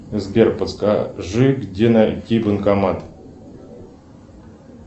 сбер подскажи где найти банкомат